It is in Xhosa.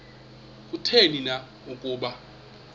kutheni na ukuba